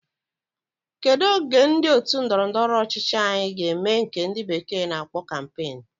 Kedu oge ndi otu ndọrọ ndọrọ ọchịchị anyi ga eme nke ndi bekee na akpo campaign?